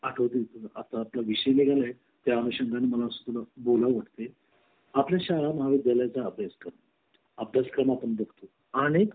मला आठवते आता आपला विषय निघाला आहे त्या अनुषंगाने मला बोलाव ते आपल्या शाळा महाविद्यालया चा अभ्यास करून अभ्यासक्रम आपण बघतो आणि